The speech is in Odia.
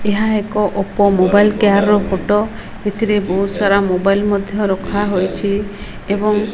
ଏହା ଏକ ଓପୋ ମୋବାଇଲ କେୟାର ର ଫଟୋ ଏଥିରେ ବହୁତ୍ ସାରା ମୋବାଇଲ ମଧ୍ୟ ରଖାଯାଇଛି।